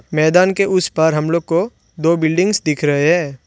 मैदान के उस पार हम लोग को दो बिल्डिंग्स दिख रहे है।